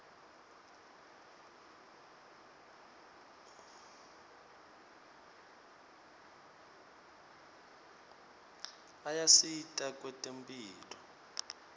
ayasita kwetemphilo